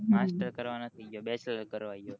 હ master bachelor કરવા ગયો